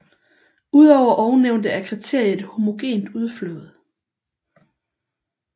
Udover ovennævnte er kriteriet et homogent udflåd